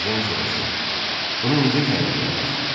Ejen soruşdu: “Bunu necə təyin elədiniz?”